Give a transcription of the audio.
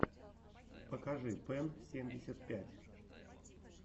покажи пэн семьдесят пять